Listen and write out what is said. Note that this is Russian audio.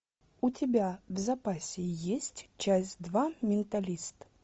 у тебя в запасе есть часть два менталист